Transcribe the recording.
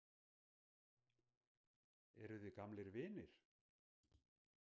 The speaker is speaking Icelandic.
Eruð þið gamlir vinir?